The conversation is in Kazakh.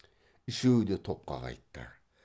үшеуі де топқа қайтты